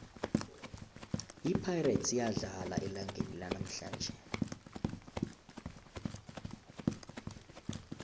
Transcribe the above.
ipirates iyadlala elangeni lanamhlanje